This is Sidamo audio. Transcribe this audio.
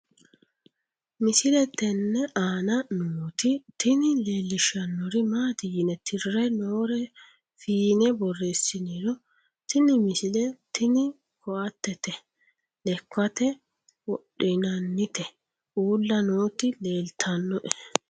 misile tenne aana nooti tini leellishshannori maati yine tirre noore fiine borreessiniro tini misile tini koatete lekkate wodhinannite uulla nooti leelltannnoe